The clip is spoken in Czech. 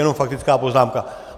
Jenom faktická poznámka.